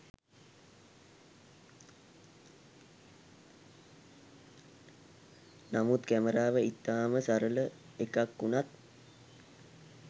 නමුත් කැමරාව ඉතා ම සරල එකක් වුණත්